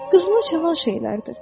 Qızıma çatan şeylərdir.